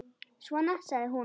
Svona, sagði hún.